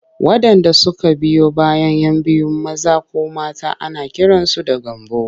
Waɗanda suka biyo bayan 'yan biyu maza ko mata ana kiransu da Gambo.